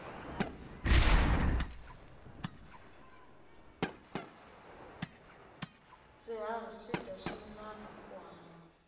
swiharhi swidya swimilana ku hanya